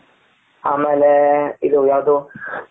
ಆಮೇಲೆ ಇದು ಯಾವದು.